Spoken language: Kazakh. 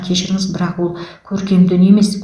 кешіріңіз бірақ ол көркем дүние емес